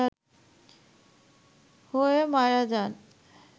হয়ে মারা যান